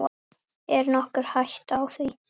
Er nokkur hætta á því?